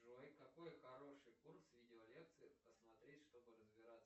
джой какой хороший курс видеолекций посмотреть чтобы разбираться